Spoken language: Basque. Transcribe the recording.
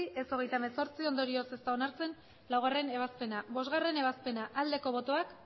ez hogeita hemezortzi ondorioz ez da onartzen laugarrena ebazpena bostgarrena ebazpena aldeko botoak